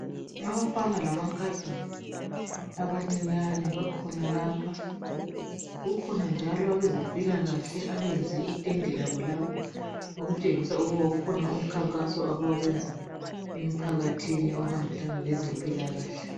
abafana lamankazana abancinyane bakhona lapha kukhona njalo abezempilakahle ybenze itende labo lapha ukutsengisa ukuba ukona umkhankaso abawenza emphakathi ohambelana lezempilakahle